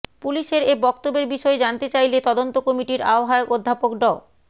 পুলিশের এ বক্তব্যের বিষয়ে জানতে চাইলে তদন্ত কমিটির আহ্বায়ক অধ্যাপক ড